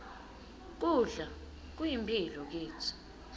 kudla kuyimphilo kitsi